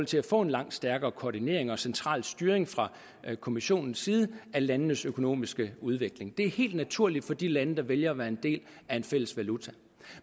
til at få en langt stærkere koordinering og central styring fra kommissionens side af landenes økonomiske udvikling det er helt naturligt for de lande der vælger at være en del af en fælles valuta